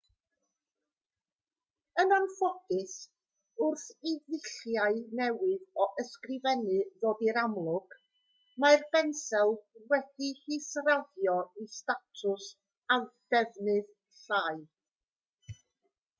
yn anffodus wrth i ddulliau newydd o ysgrifennu ddod i'r amlwg mae'r bensel wedi'i hisraddio i statws a defnydd llai